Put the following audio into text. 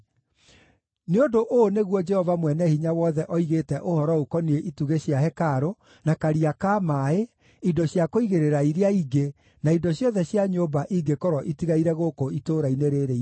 Nĩ ũndũ ũũ nĩguo Jehova Mwene-Hinya-Wothe oigĩte ũhoro ũkoniĩ itugĩ cia hekarũ, na karia ka maaĩ, indo cia kũigĩrĩra iria ingĩ, na indo ciothe cia nyũmba ingĩkorwo itigaire gũkũ itũũra-inĩ rĩĩrĩ inene,